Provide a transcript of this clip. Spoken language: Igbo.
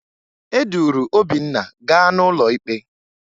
E duru Obinna gaa n'ụlọ ikpe